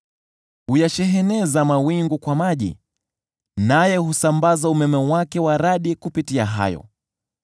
Huyasheheneza mawingu kwa maji, naye husambaza umeme wake wa radi kupitia hayo.